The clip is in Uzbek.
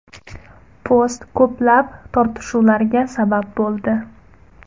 Post ko‘plab tortishuvlarga sabab bo‘ldi.